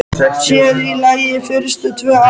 Sér í lagi fyrstu tvö árin.